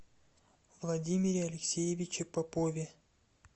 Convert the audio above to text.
владимире алексеевиче попове